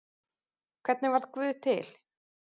Hvernig varð guð til?